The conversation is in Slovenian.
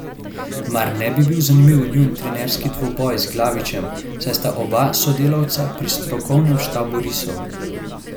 Mar ne bi bil zanimiv njun trenerski dvoboj z Glavičem, saj sta oba sodelavca pri strokovnem štabu risov?